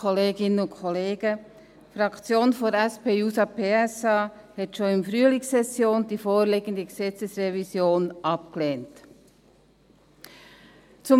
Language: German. Die Fraktion der SP-JUSO-PSA lehnte die vorliegende Gesetzesrevision schon in der Frühlingssession ab.